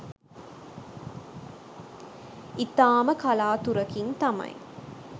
ඉතාම කලාතුරකින් තමයි